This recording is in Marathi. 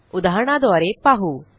उदाहरणाद्वारे पाहू